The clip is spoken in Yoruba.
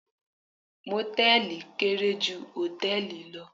Mòtẹ́ẹ̀lì kéré ju Hòtẹ́ẹ̀lì lọ